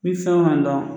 Ni fɛn ma dɔn